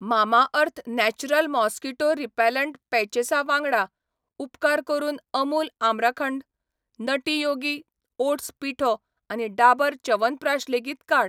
Mamaearth natural mosquito repellent पॅचेसा वांगडा, उपकार करून अमूल आमराखंड, नटी योगी ओट्स पिठो आनी डाबर च्यवनप्रकाश लेगीत काड.